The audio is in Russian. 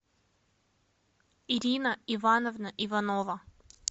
ирина ивановна иванова